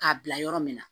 K'a bila yɔrɔ min na